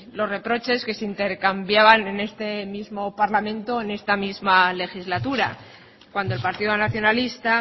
los reproches que se intercambiaban en este mismo parlamento en esta misma legislatura cuando el partido nacionalista